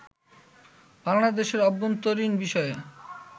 বাংলাদেশের আভ্যন্তরীন বিষয়ে